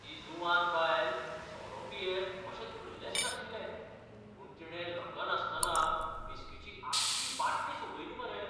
ती जुवान बायल सोरो पियेत अशें धल्लेंच नाशिल्लें, पूण तिणे लकनासतना व्हिस्कीची आख्खी बाटली सोंपयली मरे.